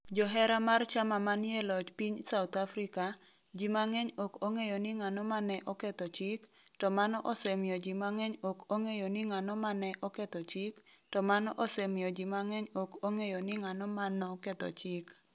Johera mar chama manie e loch piny South Africa, ji mang'eny ok ong'eyo ni ng'ano ma ne oketho chik, to mano osemiyo ji mang'eny ok ong'eyo ni ng'ano ma ne oketho chik, to mano osemiyo ji mang'eny ok ong'eyo ni ng'ano ma noketho chik.